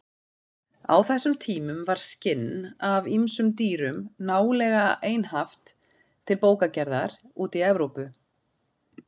Á þessum tímum var skinn af ýmsum dýrum nálega einhaft til bókagerðar úti í Evrópu.